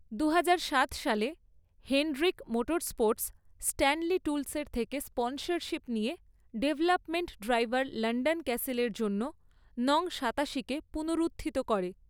দুহাজার সাত সালে, হেন্ড্রিক মোটরস্পোর্টস স্ট্যানলি টুলসের থেকে স্পন্সরশিপ নিয়ে ডেভেলপমেন্ট ড্রাইভার ল্যান্ডন ক্যাসিলের জন্য নং সাতাশিকে পুনরুত্থিত করে।